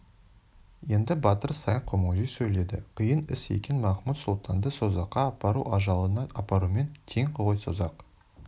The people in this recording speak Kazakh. енді батыр саян күмілжи сөйледі қиын іс екен махмуд-сұлтанды созаққа апару ажалына апарумен тең ғой созақ